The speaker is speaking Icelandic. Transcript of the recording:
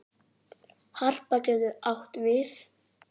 Harpa getur átt við